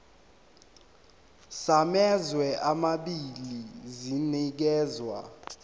samazwe amabili sinikezwa